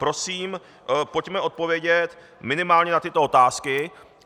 Prosím, pojďme odpovědět minimálně na tyto otázky.